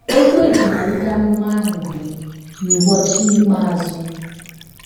Okwu e ji malite amụma ahụ bụ: “ N’ụbọchị ikpeazụ. ”